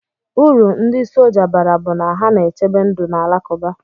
Uru ndi sọja bara bu na ha na echebe ndu na akuluba.